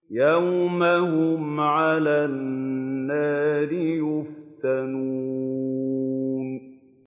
يَوْمَ هُمْ عَلَى النَّارِ يُفْتَنُونَ